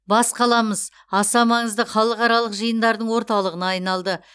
бас қаламыз аса маңызды халықаралық жиындардың орталығына айналды